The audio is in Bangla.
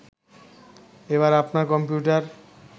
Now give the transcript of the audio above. এবার আপনার কম্পিউটার